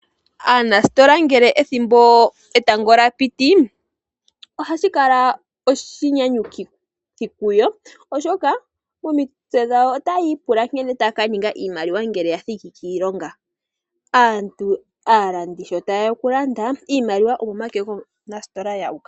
Aanasitola ngele etango lyapiti ohashi kala oshinyanyukithi kuyo oshoka momitse dhawo otayi yi pula nkene taya kaninga iimaliwa ngele yathiki kiilonga, aalandi sho tayeya okulanda iimaliwa omomake gomunasitola yu uka.